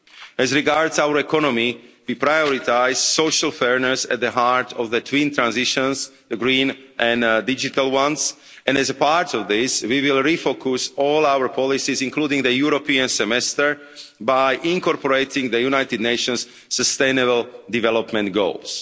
As regards our economy, we prioritise social fairness at the heart of the twin transitions, the green and digital ones, and as a part of this, we will refocus all our policies, including the European Semester, by incorporating the United Nations Sustainable Development Goals.